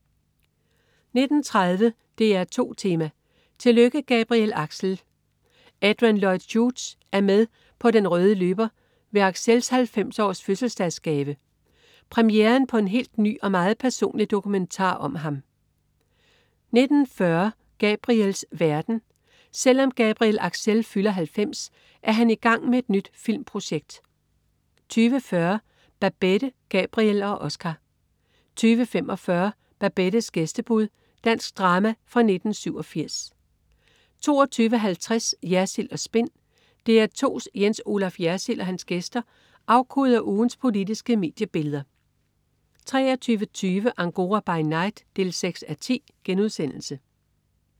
19.30 DR2 Tema: Tillykke Gabriel Axel! Adrian Lloyd Hughes er med på den røde løber ved Axels 90-års-fødselsdagsgave: Premieren på en helt ny og meget personlig dokumentar om ham 19.40 Gabriels Verden. Selv om Gabriel Axel fylder 90, er han i gang med et nyt filmprojekt 20.40 Babette, Gabriel og Oscar 20.45 Babettes gæstebud. Dansk drama fra 1987 22.50 Jersild & Spin. DR2's Jens Olaf Jersild og hans gæster afkoder ugens politiske mediebilleder 23.20 Angora by night 6:10*